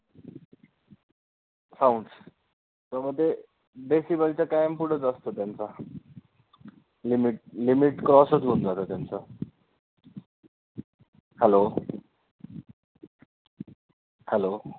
sounds तर मग ते decibel च्या कायम पुढेचं असतं त्यांचं limit limit cross चं होऊन जातं त्यांचं hello hello